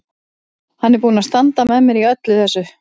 Hann er búinn að standa með mér í þessu öllu saman.